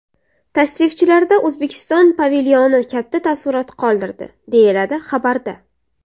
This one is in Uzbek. Tashrifchilarda O‘zbekiston pavilyoni katta taassurot qoldirdi, deyiladi xabarda.